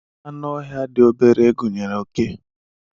Anụ ọhịa dị obere gunyere oke